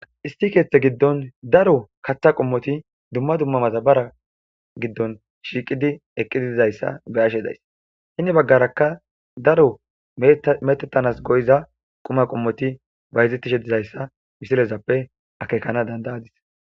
isti keeththe giddon daro kaththa qommoti dumma dumma mazabara giddon shiiqidi eqqiddizayssa be ashe days hini baggarakka daro metettanas goyiza quma qommoti ba hizittishe dizayssa misilezappe akekana dandayadis